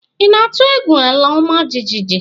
Ị na-atụ egwu ala ọma jijiji?